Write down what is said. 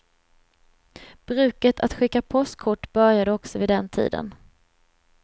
Bruket att skicka påskkort började också vid den tiden.